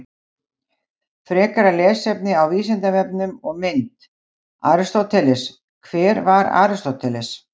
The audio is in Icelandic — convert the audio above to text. Frekara lesefni á Vísindavefnum og mynd: Aristóteles: Hver var Aristóteles?